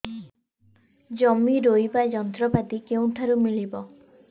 ଜମି ରୋଇବା ଯନ୍ତ୍ରପାତି କେଉଁଠାରୁ ମିଳିବ